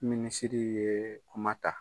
Minisiri ye kuma ta.